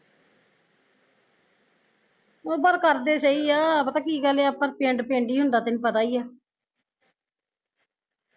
ਪਰ ਕਰਦੇ ਸਹੀ ਆ ਪਤਾ ਕੀ ਗੱਲ ਆ ਪਰ ਪਿੰਡ ਪਿੰਡ ਈ ਹੁੰਦਾ ਤੈਨੂ ਪਤਾ ਈ ਆ